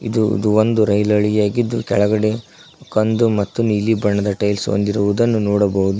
ಇದು ಇದು ಒಂದು ರೈಲು ಹಳಿ ಆಗಿದ್ದು ಕೆಳಗಡೆ ಕಂದು ಮತ್ತು ನೀಲಿ ಬಣ್ಣದ ಟೈಲ್ಸ್ ಹೊಂದಿರುವುದನ್ನು ನೋಡಬಹುದು.